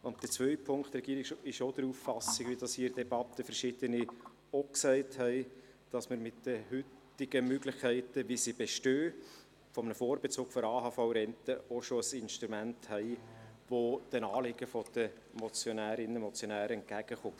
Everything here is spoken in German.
Zweitens ist die Regierung auch der Auffassung, wie das hier in der Debatte verschiedene Leute gesagt haben, dass man mit den heutigen Möglichkeiten für einen Vorbezug der AHV-Rente auch schon ein Instrument hat, das den Anliegen der Motionärinnen und Motionäre entgegenkommt.